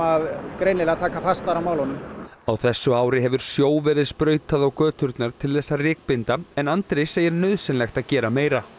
greinilega að taka fastar á málunum á þessu ári hefur sjó verið sprautað á göturnar til þess að rykbinda en Andri segir nauðsynlegt að gera meira